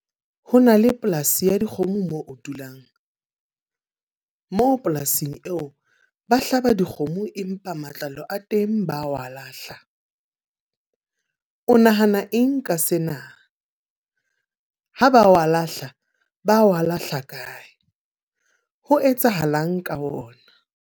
Ho na le polasi ya dikgomo moo o dulang. Moo polasing eo, ba hlaba dikgomo empa matlalo a teng ba wa lahla. O nahana eng ka sena? Ha ba wa lahla, ba wa lahla kae? Ho etsahalang ka ona?